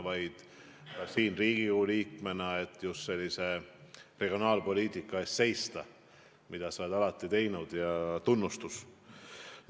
Sa oled alati seisnud just sellise regionaalpoliitika eest, tunnustus sulle selle eest!